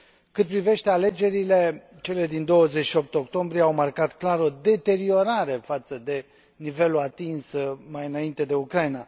Cât privește alegerile, cele din 28 octombrie au marcat clar o deteriorare față de nivelul atins mai înainte de Ucraina.